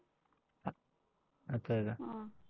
आता यायला आह